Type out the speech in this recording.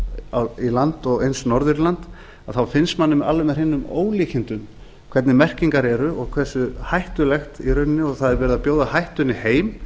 í land og eins norður í land þá finnst manni alveg með hreinum ólíkindum hvernig merkingar eru og hversu hættulegt í rauninni og það er verið að bjóða hættunni heim